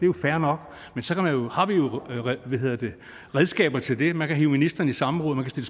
jo fair nok men så har vi jo redskaber til det man kan hive ministeren i samråd man kan